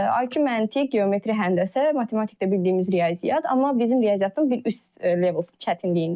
IQ məntiq, geometri həndəsə, matematikdə bildiyimiz riyaziyyat, amma bizim riyaziyyatın bir üst level çətinliyində.